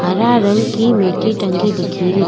हरा रंग की मेठी टंगी दिखेरी।